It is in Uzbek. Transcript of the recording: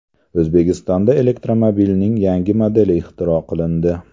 O‘zbekistonda elektromobilning yangi modeli ixtiro qilindi.